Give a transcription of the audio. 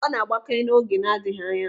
Ọ na-agbake n'oge na-adịghị anya.